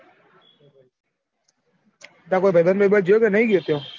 તાર કોય ભાઈબંદ ભાઈબંદ જ્યો ક નહિ જ્યો ત્યાં?